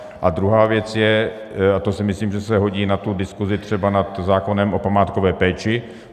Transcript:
A druhá věc je - a to si myslím, že se hodí na tu diskuzi třeba nad zákonem o památkové péči.